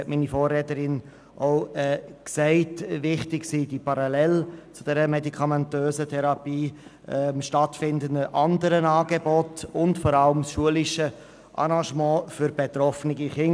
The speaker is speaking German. Wie meine Vorrednerin gesagt hat, sind die parallel zur medikamentösen Therapie stattfindenden Angebote und insbesondere das schulische Arrangement für die betroffenen Kinder wichtig.